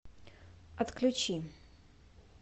отключи